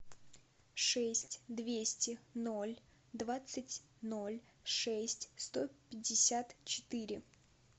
шесть двести ноль двадцать ноль шесть сто пятьдесят четыре